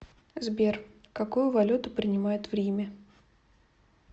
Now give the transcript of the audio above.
сбер какую валюту принимают в риме